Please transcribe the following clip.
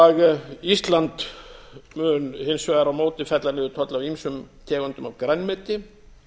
ísland mun hins vegar á móti fella niður tolla af ýmsum tegundum af grænmeti